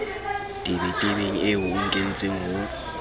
tebetebeng eo o nkentseng ho